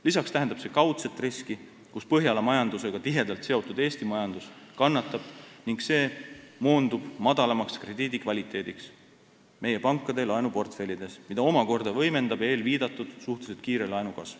Lisaks tähendab see kaudset riski, et Põhjala majandusega tihedalt seotud Eesti majandus kannatab ning see moondub madalamaks krediidikvaliteediks meie pankade laenuportfellides, mida omakorda võimendab eelviidatud suhteliselt kiire laenukasv.